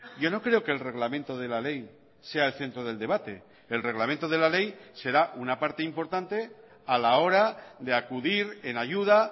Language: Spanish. yo no creo que el reglamento de la ley sea el centro del debate el reglamento de la ley será una parte importante a la hora de acudir en ayuda